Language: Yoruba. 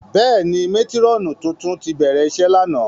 Bẹ́ẹ̀ni, matirọnu tuntun ti bẹrẹ iṣe làná.